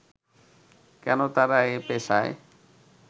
কেন তারা এই পেশায়